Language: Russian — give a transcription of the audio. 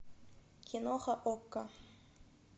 киноха окко